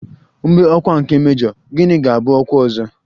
Mgbe ọkwa nke mejọ, gịnị ga-abụ ọkwa ọzọ?